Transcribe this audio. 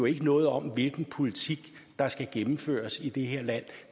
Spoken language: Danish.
ikke noget om hvilken politik der skal gennemføres i det her land